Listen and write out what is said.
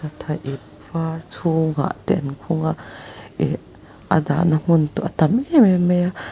tha ip vâr chhûngah te an khung a ih a dahna hmun êm êm mai a.